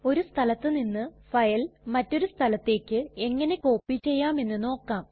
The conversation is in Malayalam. ഒരു സ്ഥലത്ത് നിന്ന് ഫയൽ മറ്റൊരു സ്ഥലത്തേക്ക് എങ്ങനെ കോപ്പി ചെയ്യാം എന്ന് നോക്കാം